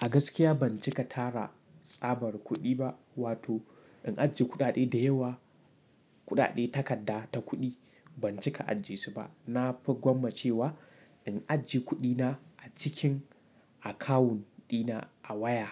A gaskiya ban cika tara tsabar kuɗi ba, wato in ajiye kuɗaɗe da yawa, kuɗaɗe takarda ta kuɗi ban cika ajiye su ba. Na fi gwammace wa in ajiye kuɗi na a cikin akawunt ɗina a waya